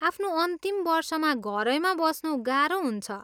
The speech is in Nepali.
आफ्नो अन्तिम वर्षमा घरैमा बस्नु गाह्रो हुन्छ।